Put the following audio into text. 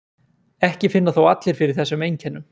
Ekki finna þó allir fyrir þessum einkennum.